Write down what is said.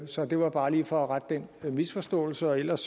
så det var bare lige for at rette den misforståelse ellers